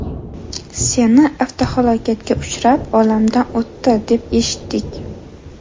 Seni avtohalokatga uchrab, olamdan o‘tdi, deb eshitdik’.